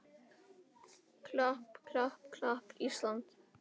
klapp, klapp, klapp, Ísland!